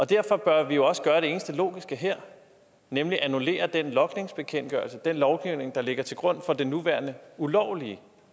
derfor bør vi jo også gøre det eneste logiske her nemlig at annullere den logningsbekendtgørelse den lovgivning der ligger til grund for den nuværende ulovlige